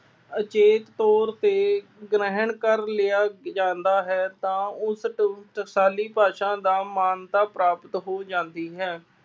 ਅਚੇਤ ਤੌਰ ਤੇ ਗ੍ਰਹਿਣ ਕਰ ਲਿਆ ਜਾਂਦਾ ਹੈ, ਤਾਂ ਉਸ ਟ ਟਕਸਾਲੀ ਭਾਸ਼ਾ ਦਾ ਮਾਨਤਾ ਪ੍ਰਾਪਤ ਹੋ ਜਾਂਦੀ ਹੈ।